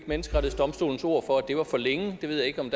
menneskerettighedsdomstolens ord for at det var for længe jeg ved ikke om